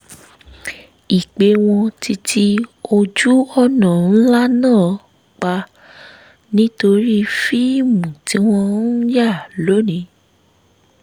i pé wọ́n ti ti ojú-ọ̀nà ńlá náà pa nítorí fíìmù tí wọ́n ń yà lónìí